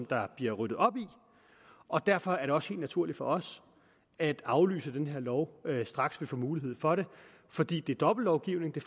der bliver ryddet op i og derfor er det også helt naturligt for os at aflyse den her lov straks vi får mulighed for det fordi det er dobbeltlovgivning det